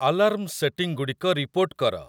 alarm ସେଟିଂଗୁଡ଼ିକ report କର